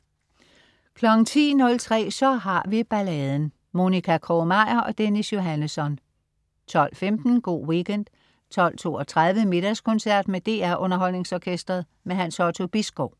10.03 Så har vi balladen. Monica Krog-Meyer og Dennis Johannesson 12.15 Go' Weekend 12.32 Middagskoncert. Med DR Underholdningsorkestret. Hans Otto Bisgaard